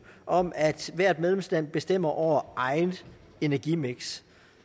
om at hvert medlemsland bestemmer over eget energimiks